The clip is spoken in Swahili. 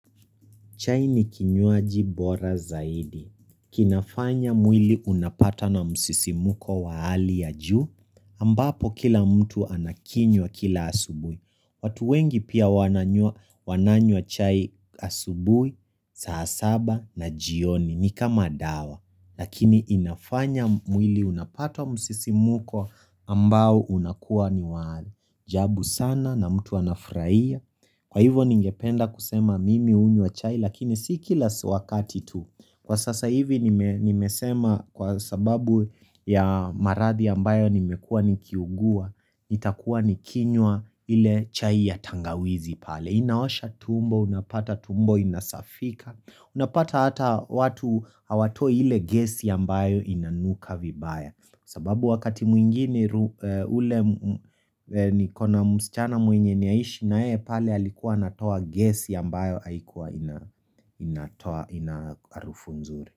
Chai ni kinyuaji bora zaidi. Kinafanya mwili unapata na msisi muko wa ali ya juu. Ambapo kila mtu anakinwa kila asubui. Watu wengi pia wananywa chai asubui, saa saba na jioni ni kama dawa. Lakini inafanya mwili unapata wa msisimuko ambao unakuwa ni waali jabu sana na mtu anafraia. Kwa hivyo ningependa kusema mimi unnya chai lakini sikilas wakati tu. Kwa sasa hivi nimesema kwa sababu ya marathi ambayo nimekua nikiugua itakuwa nikinywa ile chai ya tangawizi pale. Inaosha tumbo, unapata tumbo, inasafika. Unapata hata watu hawatoa hile gesi yambayo inanuka vibaya sababu wakati mwingine ule ni kona msichana mwenye niyaishi na yeye pale alikuwa natoa gesi yambayo haikuwa inarufu nzuri.